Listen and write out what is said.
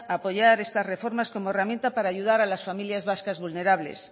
a apoyar estas reformas como herramienta para ayudar a las familias vascas vulnerables